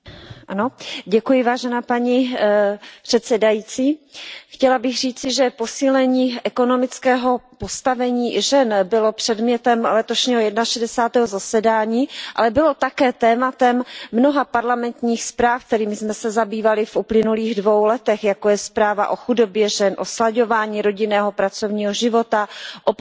Paní předsedající, chtěla bych říci, že posílení ekonomického postavení žen bylo předmětem letošního jedenašedesátého zasedání, ale bylo také tématem mnoha parlamentních zpráv, kterými jsme se zabývali v uplynulých dvou letech, jako je zpráva o chudobě žen, o slaďování rodinného a pracovního života, o podpoře žen v podmínkách